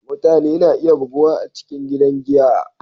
Mutane na iya buguwa a cikin gidan giya.